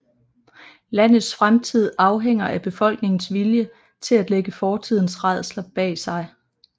Landets fremtid afhænger af befolkningens vilje til at lægge fortidens rædsler bag sig